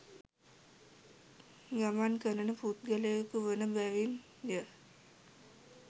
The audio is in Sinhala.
ගමන් කරන පුද්ගලයකු වන බැවින් ය.